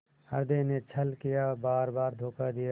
हृदय ने छल किया बारबार धोखा दिया